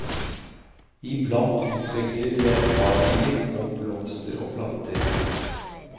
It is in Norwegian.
Iblant utveksler vi erfaringer om blomster og planter.